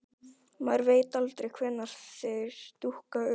Maður veit aldrei hvenær þeir dúkka upp.